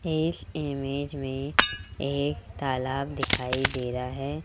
इस इमेज में एक तालाब दिखाई दे रहा है।